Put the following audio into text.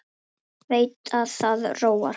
Veit að það róar hann.